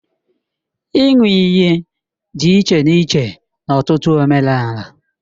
Ịṅụ iyi dị iche n'iche n'ọtụtụ omenala